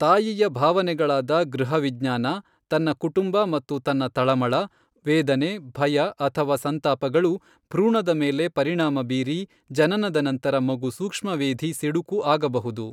ತಾಯಿಯ ಭಾವನೆಗಳಾದ ಗೃಹ ವಿಜ್ಞಾನ, ತನ್ನ ಕುಟುಂಬ ಮತ್ತು ತನ್ನ ತಳಮಳ, ವೇದನೆ ಭಯ ಅಥವಾ ಸಂತಾಪಗಳು ಭ್ರೂಣದ ಮೇಲೆ ಪರಿಣಾಮ ಬೀರಿ ಜನನದ ನಂತರ ಮಗು ಸೂಕ್ಷ್ಮವೇಧಿ ಸಿಡುಕು ಆಗಬಹುದು.